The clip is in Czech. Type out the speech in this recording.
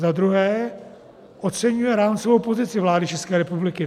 Za druhé, oceňuje rámcovou pozici vlády České republiky.